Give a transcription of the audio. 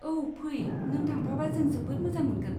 औ फै, नों थांफाबा जों जोबोद मोजां मोनगोन।